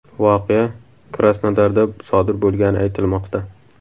Voqea Krasnodarda sodir bo‘lgani aytilmoqda.